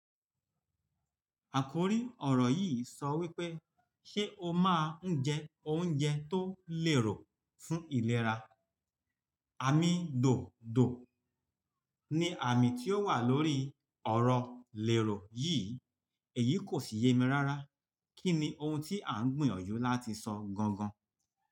Àkòrí ọ̀rọ̀ yìí sọ wípé, "Ṣé o máa ń jẹ oúnjẹ tó lè rò fún ìlera?" Àmí dòdò ni àmì tí ó wà lórí ọ̀rọ̀ lèrò yìí. Èyí kò sì ye mi rárá. Kí ni ohun tí à ń gbìyànjú láti sọ gan gan?